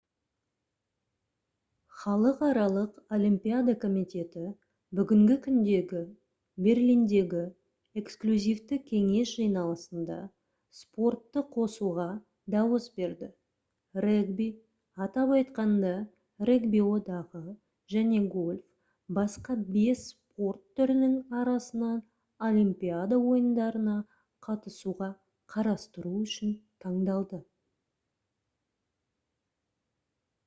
халықаралық олимпиада комитеті бүгінгі күндегі берлиндегі эксклюзивті кеңес жиналысында спортты қосуға дауыс берді регби атап айтқанда регби одағы және гольф басқа бес спорт түрінің арасынан олимпиада ойындарына қатысуға қарастыру үшін таңдалды